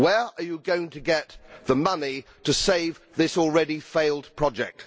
Where are you going to get the money to save this already failed project?